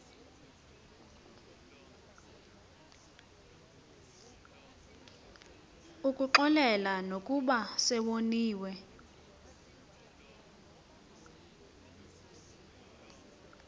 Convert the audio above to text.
ukuxolela nokuba sewoniwe